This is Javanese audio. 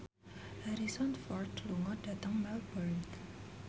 Harrison Ford lunga dhateng Melbourne